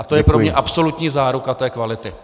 A to je pro mě absolutní záruka té kvality.